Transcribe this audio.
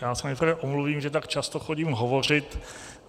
Já se nejprve omluvím, že tak často chodím hovořit.